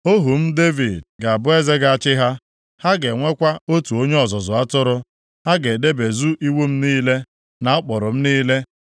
“ ‘Ohu m, Devid, ga-abụ eze ga-achị ha, ha ga-enwekwa otu onye ọzụzụ atụrụ. Ha ga-edebezu iwu m niile, na ụkpụrụ m niile.